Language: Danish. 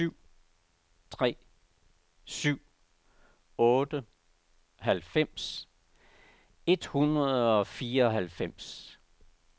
syv tre syv otte halvfems et hundrede og fireoghalvfems